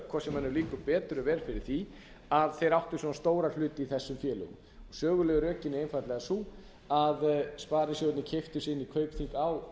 líkar betur eða verr fyrir því að þeir áttu svona stóra hluti í þessum félögum sögulegu rökin eru einfaldlega þau að sparisjóðirnir keyptu sig inn í kaupþing á